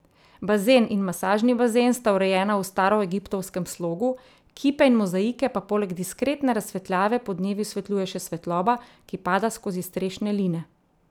Bazen in masažni bazen sta urejena v staroegiptovskem slogu, kipe in mozaike pa poleg diskretne razsvetljave podnevi osvetljuje še svetloba, ki pada skozi strešne line.